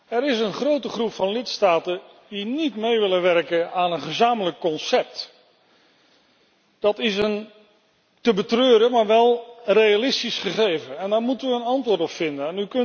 Er is een grote groep van lidstaten die niet willen meewerken aan een gezamenlijk concept. Dat is een te betreuren, maar wel een realistisch gegeven en daar moeten we een antwoord op vinden.